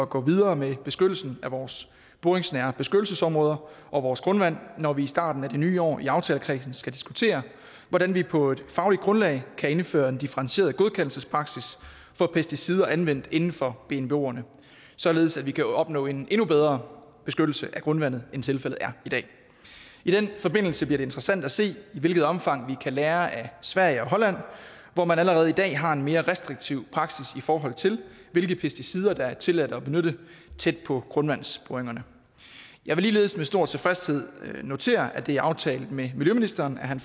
gå videre med beskyttelsen af vores boringsnære beskyttelsesområder og vores grundvand når vi i starten af det nye år i aftalekredsen skal diskutere hvordan vi på et fagligt grundlag kan indføre en differentieret godkendelsespraksis for pesticider anvendt inden for bnboerne således at vi kan opnå en endnu bedre beskyttelse af grundvandet end tilfældet er i dag i den forbindelse bliver det interessant at se i hvilket omfang vi kan lære af sverige og holland hvor man allerede i dag har en mere restriktiv praksis i forhold til hvilke pesticider det er tilladt at benytte tæt på grundvandsboringerne jeg vil ligeledes med stor tilfredshed notere at det er aftalt med miljøministeren at han